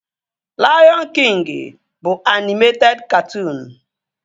Laiọn Kịngi bụ anịmeted katụụnu